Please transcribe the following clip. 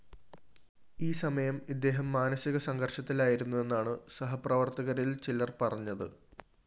ഈ സമയം ഇദ്ദേഹം മാനസിക സംഘര്‍ഷത്തിലായിരുന്നുവെന്നാണ് സഹപ്രവര്‍ത്തകരില്‍ ചിലര്‍ പറഞ്ഞത്